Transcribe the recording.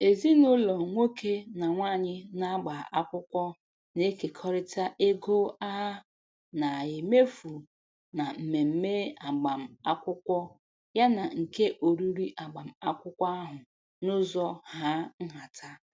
Ezinụlọ nke nwoke na nwaanyị na-agba akwụkwọ na-ekerịta ego a na-emefu na mmemme agbamakwụkwọ yana nke oriri agbamakwụkwọ ahụ n'ụzọ hà nhata.